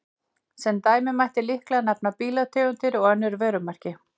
Sem dæmi mætti líklega nefna bílategundir eða önnur vörumerki.